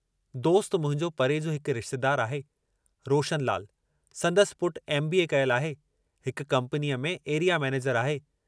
दोस्त मुंहिंजो परे जो हिकु रिश्तेदारु आहे, रोशनलाल संदसि पुटु एम. बी. ए. कयल आहे, हिक कम्पनीअ में एरिया मैनेजर आहे।